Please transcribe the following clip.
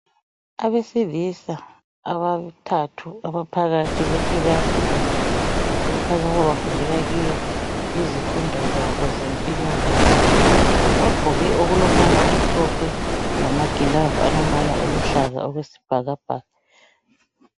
Abesilisa abathathu abaphakathi kwekilasi le , bafundela kiyo izifundo zabo zempilakahle bagqoke okulombala omhlophe lama gilavi alombala oluhlaza okwesibhakabhaka .